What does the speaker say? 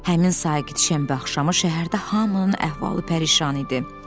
Həmin sakit şənbə axşamı şəhərdə hamının əhvalı pərişan idi.